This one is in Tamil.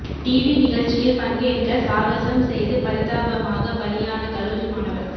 டிவி நிகழ்ச்சியில் பங்கேற்க சாகசம் செய்து பரிதாபமாக பலியான கல்லூரி மாணவர்